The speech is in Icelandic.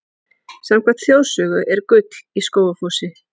Samkvæmt þjóðsögu er gull í Skógafossi.